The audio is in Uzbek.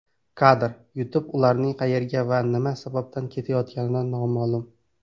Kadr: YouTube Ularning qayerga va nima sababdan ketayotganligi noma’lum.